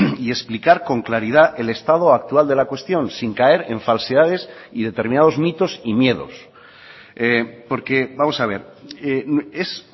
y explicar con claridad el estado actual de la cuestión sin caer en falsedades y determinados mitos y miedos porque vamos a ver es